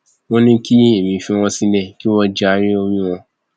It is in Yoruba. ó ní kí èmi fi wọn sílẹ kí wọn jayé orí wọn o